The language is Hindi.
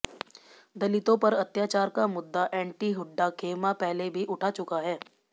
दलितों पर अत्याचार का मुद्दा एंटी हुड्डा खेमा पहले भी उठा चुका है